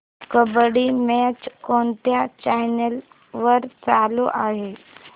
kabaddi match कोणत्या channel वर चालू आहे